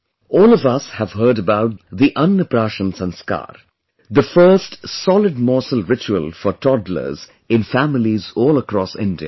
All of us have heard about the 'Ann Praashan Sanskar', the first solid morsel ritual for toddlers in families all across India